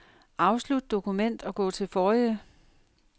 Afslut dokument og gå til forrige.